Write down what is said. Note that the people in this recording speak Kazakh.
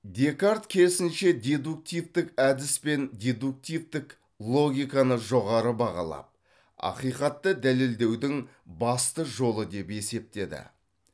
декарт керісінше дедуктивтік әдіс пен дедуктивтік логиканы жоғары бағалап ақиқатты дәлелдеудің басты жолы деп есептеді